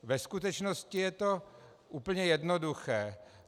Ve skutečnosti je to úplně jednoduché.